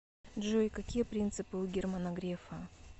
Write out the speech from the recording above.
джой какие принципы у германа грефа